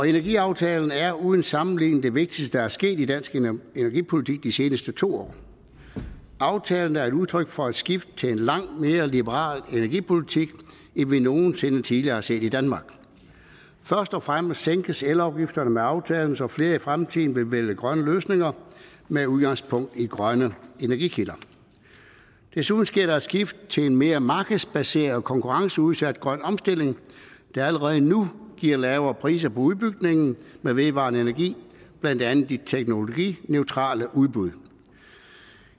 energiaftalen er uden sammenligning det vigtigste der er sket i dansk energipolitik de seneste to år aftalen er et udtryk for et skift til en langt mere liberal energipolitik end vi nogen sinde tidligere har set i danmark først og fremmest sænkes elafgifterne med aftalen så flere i fremtiden vil vælge grønne løsninger med udgangspunkt i grønne energikilder desuden sker der et skift til en mere markedsbaseret konkurrenceudsat grøn omstilling der allerede nu giver lavere priser på udbygningen med vedvarende energi blandt andet de teknologineutrale udbud